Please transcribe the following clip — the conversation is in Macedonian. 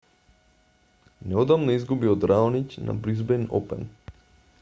неодамна изгуби од раониќ на бризбејн опен